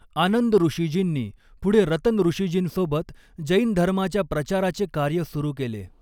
आनंदऋषीजींनी पुढे रतनऋषीजींसोबत जैन धर्माच्या प्रचाराचे कार्य सुरू केले.